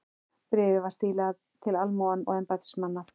Bréfið var stílað til almúga og embættismanna.